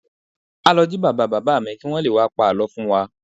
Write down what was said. A lọ jí bàbá bàbá mi kí wọ́n lé wá pa àlọ́ fún wa